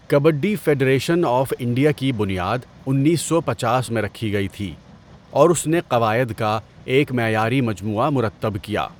Kabaddi federation of India کی بنیاد انیس سو پنچاس میں رکھی گئی تھی، اور اس نے قواعد کا ایک معیاری مجموعہ مرتب کیا۔